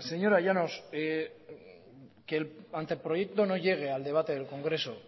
señora llanos que el anteproyecto no llegue al debate del congreso